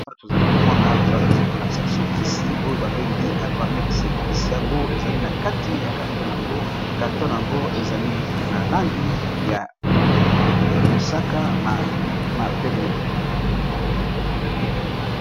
Awa tozali komona bazakolakisa biso kisi oyo babengi Albamex kisi yango ezali na kati ya carton, yango carton yango ezali na langi ya mosaka na pembe.